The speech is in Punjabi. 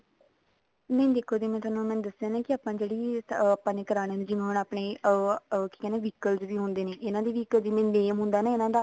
ਨਹੀਂ ਦੇਖੋ ਜਿਵੇਂ ਮੈਂ ਦੱਸਿਆ ਆਪਾਂ ਜਿਹੜੀ ਅਮ ਆਪਾਂ ਨੇ ਕਰਾਨੇ ਆ ਜਿਵੇਂ ਹੁਣ ਆਪਣੇ ਅਮ ਅਮ ਕੀ ਕਹਿੰਦੇ vehicle ਜਿਹੜੇ ਹੁੰਦੇ ਨੇ ਇਹਨਾ ਦਾ ਵੀ ਇੱਕ name ਹੁੰਦਾ ਇਹਨਾ ਦਾ